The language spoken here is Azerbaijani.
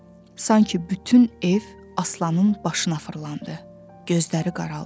Sanki bütün ev Aslanın başına fırlandı, gözləri qaraldı.